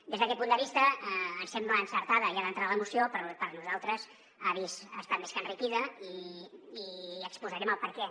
des d’aquest punt de vista ens sembla encertada ja d’entrada la moció però per nosaltres ha estat més que enriquida i n’exposarem el perquè